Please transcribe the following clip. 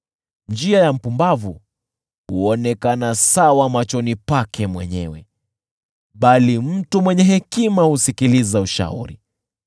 Njia ya mpumbavu huonekana sawa machoni pake mwenyewe, bali mtu mwenye hekima husikiliza ushauri.